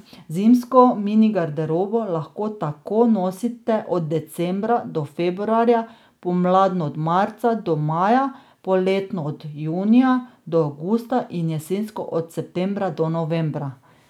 Zimsko mini garderobo lahko tako nosite od decembra do februarja, pomladno od marca do maja, poletno od junija do avgusta in jesensko od septembra do novembra.